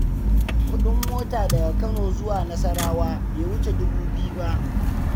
Kuɗin mota daga Kano zuwa Nasarawa bai wuce dubu biyu ba.